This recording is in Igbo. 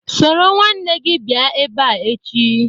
Soro nwanne gi bia ebea echi